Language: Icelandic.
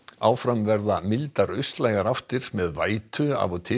áfram verða mildar austlægar áttir með vætu af og til